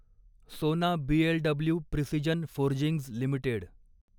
सोना BLW Precision Forgings limited